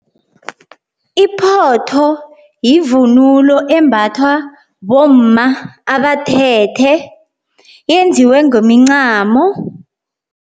Iphotho yivunulo embathwa bomma abathethe yenziwe ngemincamo.